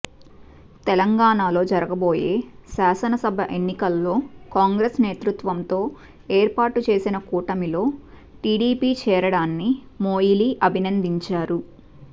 తెలంగాణలో జరగబోయే శాసనసభ ఎన్నికల్లో కాంగ్రెస్ నేతృత్వంతో ఏర్పాటు చేసిన కూటమిలో టీడీపీ చేరడాన్ని మొయిలీ అభినందించారు